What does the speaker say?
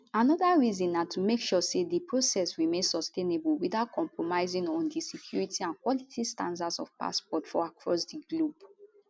anoda reason na to make sure say di process remain sustainable witout compromising on di security and quality standards of passports for across di globe